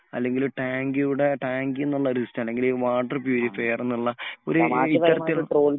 അല്ലെങ്കിൽ ഒരു ടാങ്കിയുടെ ടാങ്കി എന്നുള്ള അല്ലെങ്കിൽ വാട്ടർ പ്യൂരിഫയർ എന്നുള്ള ഒരു ഈ തരത്തിലുള്ള